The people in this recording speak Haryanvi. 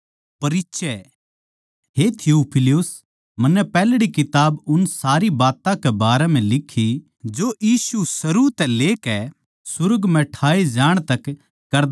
हे थियुफिलुस मन्नै पैहल्ड़ी किताब उन सारी बात्तां कै बारें म्ह लिक्खी जो यीशु शुरू तै करदा अर सिखान्दा रहया